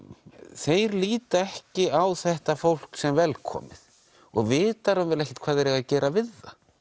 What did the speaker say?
þeir líta ekki á þetta fólk sem velkomið og vita ekki hvað þeir eiga að gera við það